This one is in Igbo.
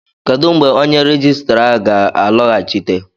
kedụ mgbe onye rejistra a ga-alọghachite?